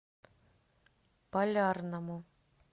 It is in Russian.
полярному